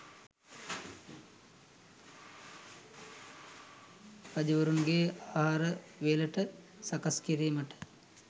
රජ්ජුරුවන්ගේ ආහාර වේලට සකස්කිරීමට